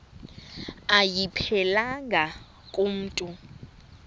ayiphelelanga ku mntu